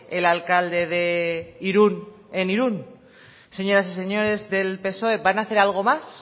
el alcalde de irún en irún señoras y señores del psoe van a hacer algo más